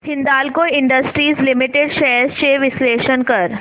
Hindalco industries limited shares चे विश्लेषण कर